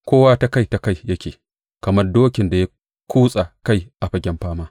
Kowa ta kai ta kai yake kamar dokin da ya kutsa kai a fagen fama.